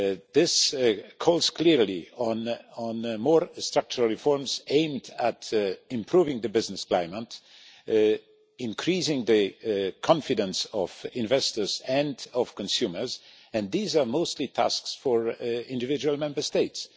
This calls clearly for more structural reforms aimed at improving the business climate and increasing the confidence of investors and consumers, and these are mostly tasks for individual Member States.